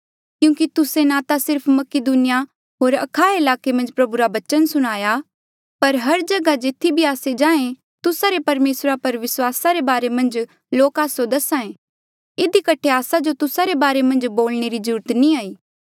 क्यूंकि तुस्से ना सिर्फ मकीदुनिया होर अखाया ईलाके मन्झ प्रभु रा बचन सुणाया पर हर जगहा जेथी भी आस्से जाहें तुस्सा रे परमेसरा पर विस्वास रे बारे मन्झ लोक आस्सो दसाहें इधी कठे आस्सा जो तुस्सा रे बारे मन्झ बोलणे री ज्रूरत नी ई